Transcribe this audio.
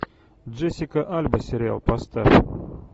джессика альба сериал поставь